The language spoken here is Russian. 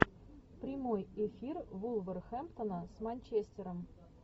прямой эфир вулверхэмптона с манчестером